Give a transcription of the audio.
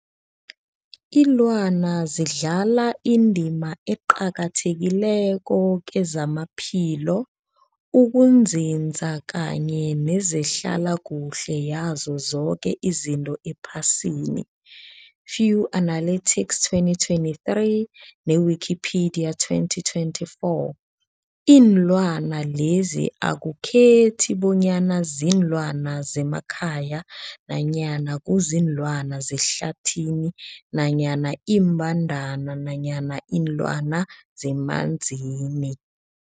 Ilwana zidlala indima eqakathekileko kezamaphilo, ukunzinza kanye nezehlala kuhle yazo zoke izinto ephasini, Fuanalytics 2023, ne-Wikipedia 2024. Iinlwana lezi akukhethi bonyana ziinlwana zemakhaya nanyana kuziinlwana zehlathini nanyana iimbandana nanyana iinlwana zemanzini.